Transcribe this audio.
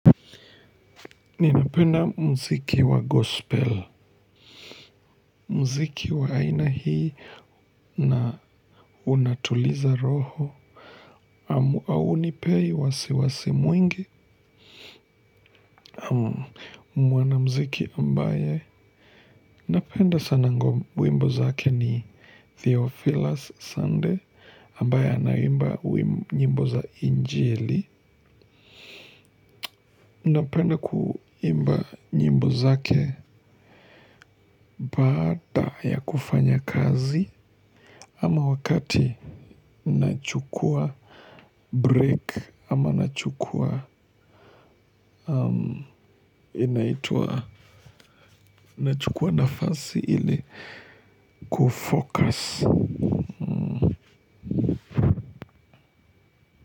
Ninapenda mziki wa gospel, mziki wa aina hii na unatuliza roho, aunipei wasiwasi mwingi, mwanamziki ambaye, napenda sana ngo wimbo zake ni Theophilus Sunday, ambaye anaimba wimbo za injili. Napenda kuimba nyimbo zake baada ya kufanya kazi ama wakati nachukua break ama nachukua nafasi ili kufocus.